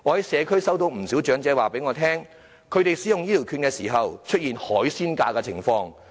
社區有不少長者告訴我，他們在使用醫療券時出現收費"海鮮價"的情況。